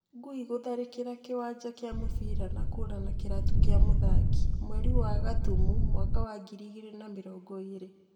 Ngui gutharikira kiwanja kia mubira na kura na kiratu kia muthaki ,mweri wa gatumu mwaka wa ngiri igiri na mirongo iri